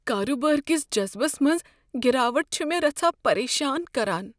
کارٕبار کس جذبس منٛز گراوٹ چھ مےٚ رژھاہ پریشان کران۔